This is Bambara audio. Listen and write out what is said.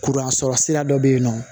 Kuransɔrɔ sira dɔ bɛ yen nɔ